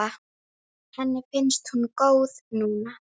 Henni finnst hún góð núna.